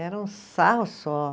Era um sarro só.